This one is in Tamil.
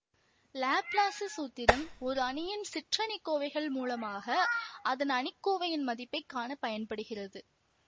லாப்லாசு சூத்திரம் ஓர் அணியின் சிற்றணிக்கோவைகள் மூலமாக அதன் அணிக்கோவையின் மதிப்பை காண பயன்படுகிறது